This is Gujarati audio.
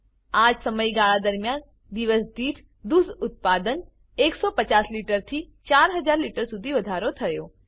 આ જ સમયગાળા દરમિયાન દિવસ દીઠ દૂધ ઉત્પાદન 150 લિટર થી 4000 લિટર સુધી વધારો થયો છે